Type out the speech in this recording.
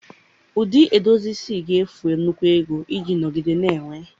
Ụdị edozi isi ga-efu nnukwu ego iji nọgide na-enwe